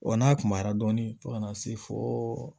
Wa n'a kunyara dɔɔni fo ka na se fo